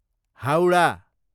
Howrah